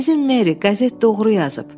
Əzizim Meri, qəzet doğru yazıb.